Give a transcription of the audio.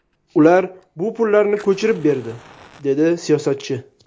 Ular bu pullarni ko‘chirib berdi”, dedi siyosatchi.